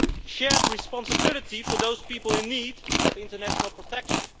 shared responsibility for those people in need of international protection